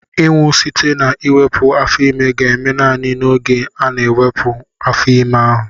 Ịnwụ site na iwepu afo-ime ga-eme naanị n'oge ana-ewepu afo-ime ahu.